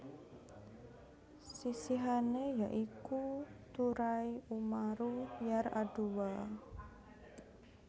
Sisihané ya iku Turai Umaru Yar adua